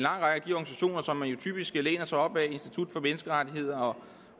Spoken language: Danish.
typisk læner sig op ad institut for menneskerettigheder og